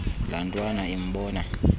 laa ntwana imbona